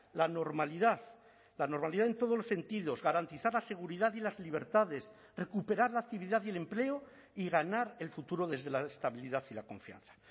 la normalidad la normalidad en todos los sentidos garantizar la seguridad y las libertades recuperar la actividad y el empleo y ganar el futuro desde la estabilidad y la confianza